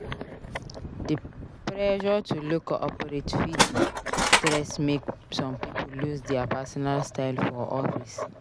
Di pressure to look corporate fit stress make some pipo lose dia personal style for office.